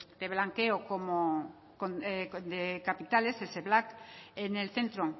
de blanqueo de capitales el sepblac en el centro